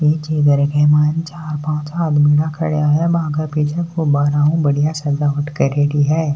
पीछे घर के सामने कुछ चार पाच आदमी खड़े है और वहा पे गुबारों की बढ़िया सजावट करेड़ी है।